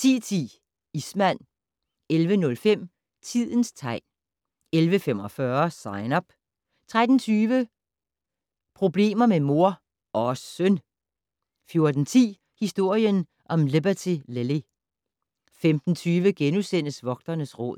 10:10: Ismand 11:05: Tidens tegn 11:45: Sign Up 13:20: Problemet med mor - og søn! 14:10: Historien om Liberty Lily 15:20: Vogternes Råd *